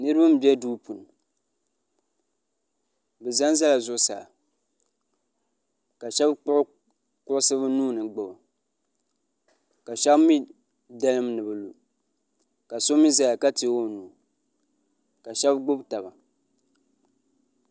niraba n bɛ duu puuni bi ʒɛnʒɛla zuɣusaa ka shab kpuɣi kuɣusi bi nuuni gbubi ka shab mii dalim ni bi lu ka so mii ʒɛya ka teegi o nuu ka shab dalim taba